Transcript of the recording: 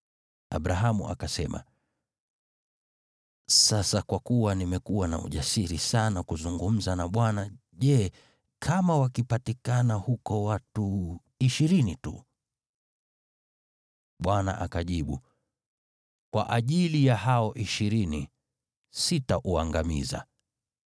Abrahamu akasema, “Sasa kwa kuwa nimekuwa na ujasiri sana kuzungumza na Bwana, je, kama wakipatikana huko watu ishirini tu?” Bwana akajibu, “Kwa ajili ya hao ishirini, sitauangamiza.”